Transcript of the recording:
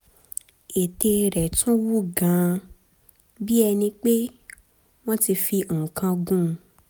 ètè rẹ̀ tún wú gan-an bí ẹni pé wọ́n ti fi nǹkan kan gún un